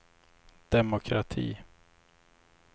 demokrati